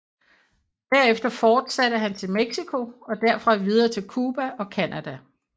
Derefter fortsatte han til Mexico og derfra videre til Cuba og Canada